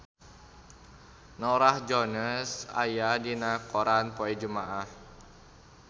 Norah Jones aya dina koran poe Jumaah